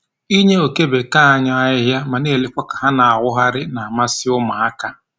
Inye oke bekee anyị ahịhịa ma na-elekwa ha ka ha na-awụgharị na-amasị ụmụaka